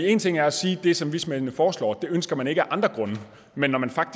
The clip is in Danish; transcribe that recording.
en ting er at sige at det som vismændene foreslår ønsker man ikke af andre grunde men man